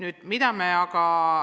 Ei, ei ole võimalik.